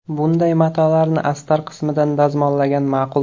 Bunday matolarni astar qismidan dazmollagan ma’qul.